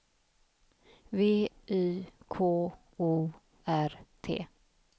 V Y K O R T